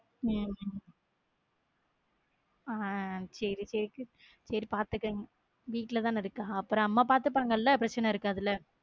உம் அஹ் சேரி கேக்கு சரி பார்த்துங்க வீட்ல தான இருக்க அப்ப அம்மா பாத்துக்கிடுவாங்களா பிரச்சனை இருக்காது இல்ல